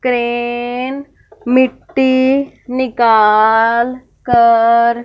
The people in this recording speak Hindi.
क्रेन मिट्टी निकाल कर--